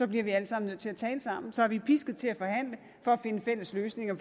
bliver vi alle sammen nødt til at tale sammen så er vi pisket til at forhandle for at finde fælles løsninger